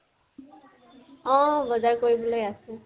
অহ, বজাৰ কৰিলৈ আছে